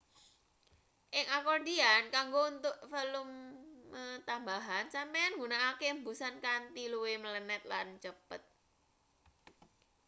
ing akordian kanggo entuk volume tambahan sampeyan nggunakake embusan kanthi luwih mlenet lan cepet